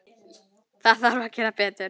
Það þarf að gera betur.